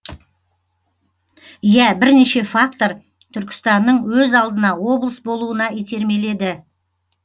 иә бірнеше фактор түркістанның өз алдына облыс болуына итермеледі